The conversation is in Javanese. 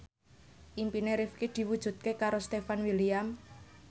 impine Rifqi diwujudke karo Stefan William